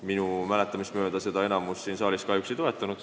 Minu mäletamist mööda enamus siin saalis seda kahjuks ei toetanud.